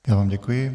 Já vám děkuji.